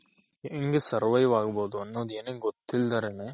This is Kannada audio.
ಹೆಂಗೆ survive ಆಗ್ಬೋದ್ ಅನ್ನೋದ್ ಏನು ಗೊತ್ತಿಲ್ದಿರನೆ